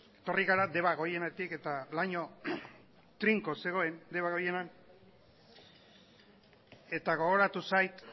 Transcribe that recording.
etorri gara debagoienetik eta laino trinko zegoen debagoienean eta gogoratu zait